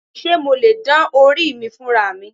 Ṣé mo lè dán orí mi fúnra mi?